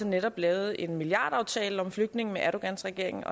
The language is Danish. netop lavet en milliardaftale om flygtninge med erdogans regering